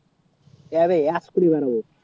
যাবে